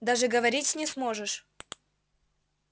даже говорить не сможешь